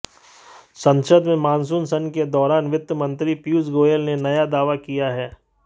संसद में मानसून सत्र के दौरान वित्त मंत्री पीयूष गोयल ने नया दावा किया है